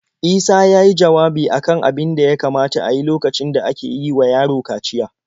Isa ya yi jawabi a kan abin da ya kamata a yi lokacin da ake yi wa yaro kaciya.